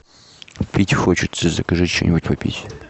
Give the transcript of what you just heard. пить хочется закажи что нибудь попить